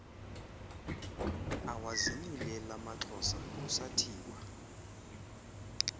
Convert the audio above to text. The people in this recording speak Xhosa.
awazinyulel amaxhosa kusathiwa